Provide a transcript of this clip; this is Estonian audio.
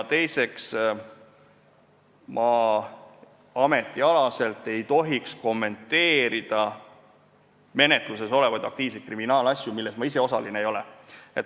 Teiseks, ma ametialaselt ei tohiks kommenteerida menetluses olevaid aktiivseid kriminaalasju, milles ma ise osaline ei ole.